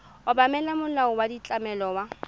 obamela molao wa ditlamo wa